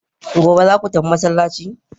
gobe zaku tafi masallaci?